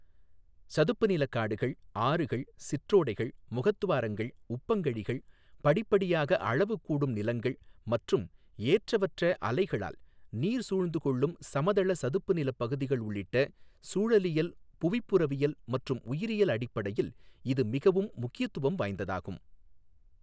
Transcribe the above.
சதுப்பு நிலக் காடுகள், ஆறுகள், சிற்றோடைகள், முகத்துவாரங்கள், உப்பங்கழிகள், படிப்படியாகக் அளவு கூடும் நிலங்கள் மற்றும் ஏற்றவற்ற அலைகளால் நீர் சூழ்ந்துகொள்ளும் சமதள சதுப்பு நிலப் பகுதிகள் உள்ளிட்ட சூழலியல், புவிப்புறவியல் மற்றும் உயிரியல் அடிப்படையில் இது மிகவும் முக்கியத்துவம் வாய்ந்ததாகும்.